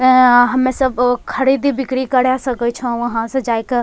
एऐं यहां हम्मे सब अ खड़ीदी बिक्री करे सके छो वहाँ से जाए क।